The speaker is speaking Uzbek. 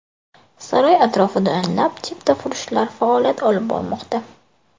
Saroy atrofida o‘nlab chiptafurushlar faoliyat olib bormoqda.